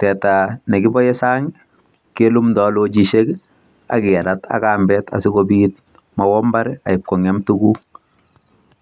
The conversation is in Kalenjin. Teta ne kiboen sang kilumdoi ak kerat ak kambet asikobit mowombar kong'em tuguk.